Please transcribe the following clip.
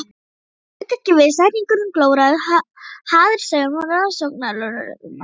Hann lauk ekki við setninguna en glórði hatursaugum á rannsóknarlögreglumanninn.